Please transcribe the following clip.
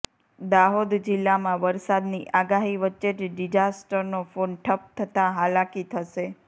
દાહોદ જિલ્લામાં વરસાદની આગાહી વચ્ચે જ ડિઝાસ્ટરનો ફોન ઠપ થતાં હાલાકી થશે